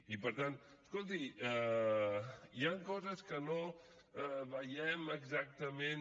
i per tant escolti hi han coses que no veiem exactament